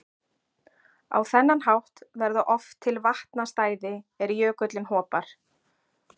Á þennan hátt verða oft til vatnastæði er jökullinn hopar.